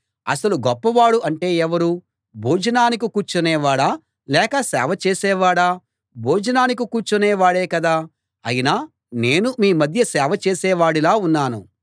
అసలు గొప్పవాడు అంటే ఎవరు భోజనానికి కూర్చునే వాడా లేక సేవ చేసేవాడా భోజనానికి కూర్చునే వాడే కదా అయినా నేను మీ మధ్య సేవ చేసే వాడిలా ఉన్నాను